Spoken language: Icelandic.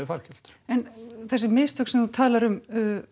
fargjöld en þessi mistök sem þú talar um